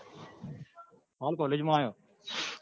હાલ college માં આવ્યો.